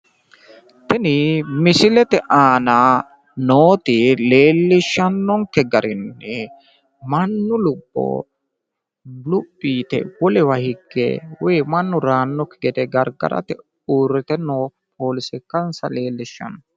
Tini misilete aana nooti leellishshannonkke garinni mannu lubbo luphi yite wolewa higge woyi mannu reyaannokki gede gargarate uurrite noo poolise ikkanssa leellishanno.